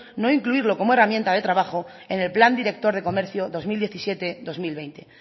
no incluirlo como herramienta de trabajo en el plan director de comercio dos mil diecisiete dos mil veinte